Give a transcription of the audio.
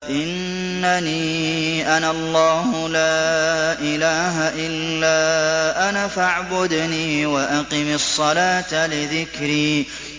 إِنَّنِي أَنَا اللَّهُ لَا إِلَٰهَ إِلَّا أَنَا فَاعْبُدْنِي وَأَقِمِ الصَّلَاةَ لِذِكْرِي